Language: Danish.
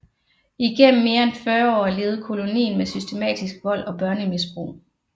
Igennem mere end 40 år levede kolonien med systematisk vold og børnemisbrug